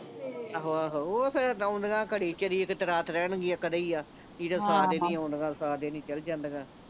ਆਹੋ ਆਹੋ ਓਹ ਫੇਰ ਆਉਦੀਆਂ ਘੜੀ ਚਿਰ ਰਾਤ ਰਹਿਣਗੀਆਂ ਕਦੇ ਹੀ ਆ ਨਹੀਂ ਤੇ ਸਾ ਦਿਨ ਆਉਂਦੀਆਂ ਸਾ ਦਿਨ ਹੀ ਚੱਲ ਜਾਂਦਿਆਂ